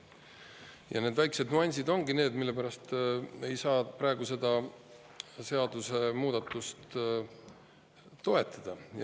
Ja need väiksed nüansid ongi need, mille pärast me ei saa praegu seda seadusemuudatust toetada.